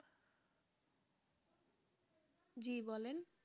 জি বলেন।